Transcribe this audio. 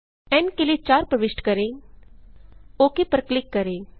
N के लिए 4 प्रविष्ट करें ओक पर क्लिक करें